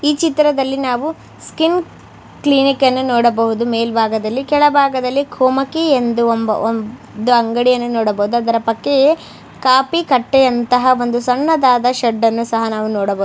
ಈ ಚಿತ್ರದಲ್ಲಿ ನಾವು ಸ್ಕಿನ್ ಕ್ಲಿನಿಕ್ ಅನ್ನು ನೋಡಬಹುದು ಮೇಲ್ಬಾಗದಲ್ಲಿ ಕೆಳ ಭಾಗದ್ದಲ್ಲಿ ಕೋಮಕಿ ಎಂದು ಒ ಒಂದು ಅಂಗಡಿಯನ್ನು ನೋಡಬಹುದು ಅದರ ಪಕ್ದಲ್ಲಿ ಕಾಪಿ ಕಟ್ಟ್ಟೆ ಅಂತಹ ಸಣ್ಣದಾದ ಶೆಡ್ ಅನ್ನು ಸಹ ನಾವು ನೋಡಬಹುದು --